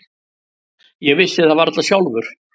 Ég vissi það varla sjálfur.